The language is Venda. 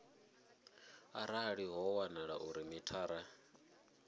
arali ho wanala uri mithara